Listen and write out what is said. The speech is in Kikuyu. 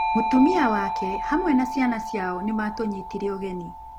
Mũtumia wake hamwe na ciana ciao nĩ maatũnyitire ũgeni.